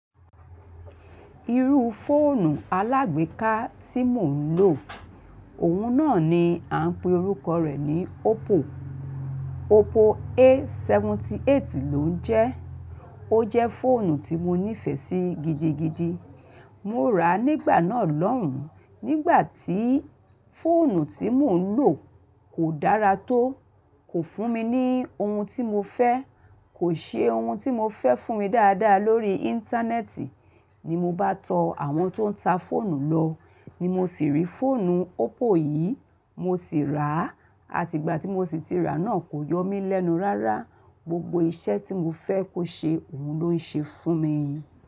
Irú fóònù alágbèéká tí mò ń lò, òun náà ni a ń pe orúkọ rẹ̀ ní Oppo. Oppo A78 ló ń jẹ. Ó jẹ́ fóònù tí mo nífẹ̀ẹ́ sí gidigidi. Mo rà á nígbà náà lọ́hùn, nígbà tí fóònù tí mò ń lò kò dára tó, kò fún mi ní ohun tí mo fẹ́, kò ṣe ohun tí mo fẹ́ fún mi dáadáa lórí Íńtánẹ́ẹ̀tì. Ni mo bá tọ àwọn tó ń ta fóònù lọ. Ni mo sì rí fóònù Oppo yìí, mo sì rà á. Àti ìgbà tí mo sì ti rà náà kò yọ mí lẹ́nu rárá. Gbogbo iṣẹ́ tí mo fẹ́ kó ṣe, òun ló ń ṣe fún mi.